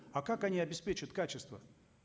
а как они обеспечат качество